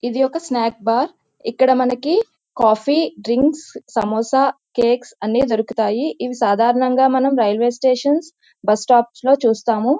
ఇది ఒక snack bar . ఇక్కడ మనకి కాఫీ డ్రింక్స్ సమోసా కేక్ అన్ని దొరుకుతాయి. ఇవి సాధారణంగా ఇవి మనం రైల్వే స్టేషన్ బస్సు స్టాప్ లో చూస్తాము.